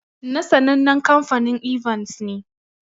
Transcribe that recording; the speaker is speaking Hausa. Na sannanen kamfanin "Evans" ne.